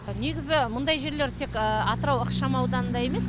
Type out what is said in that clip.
негізі мұндай жерлер тек атырау ықшам аудынында емес